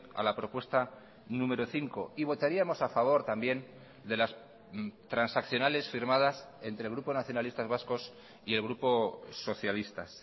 a la propuesta número cinco y votaríamos a favor también de las transaccionales firmadas entre el grupo nacionalistas vascos y el grupo socialistas